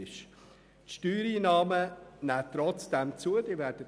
Trotzdem nehmen die Steuereinnahmen zu, das werden Sie sehen.